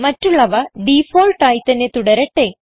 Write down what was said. മറ്റുള്ളവ ഡിഫാൾട്ട് ആയി തന്നെ തുടരട്ടെ